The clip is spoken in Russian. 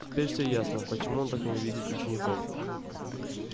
теперь все ясно почему он так ненавидит учеников